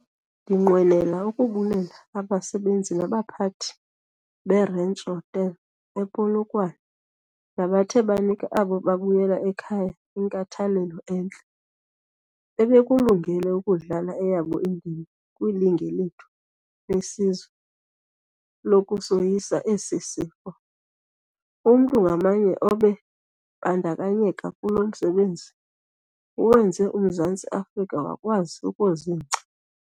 Ndinqwenela ukubulela abasebenzi nabaphathi be-Ranch Hotel, ePolokwane, nabathe banika abo babuyela ekhaya inkathalelo entle. Bebekulungele ukudlala eyabo indima kwilinge lethu lesizwe lokusoyisa esi sifo. Umntu ngamnye obe bandakanyeka kulo msebenzi, uwenze uMzantsi Afrika wakwazi ukuzingca.